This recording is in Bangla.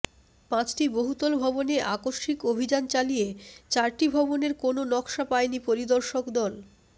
পাঁচটি বহুতল ভবনে আকস্মিক অভিযান চালিয়ে চারটি ভবনের কোনো নকশা পায়নি পরিদর্শক দল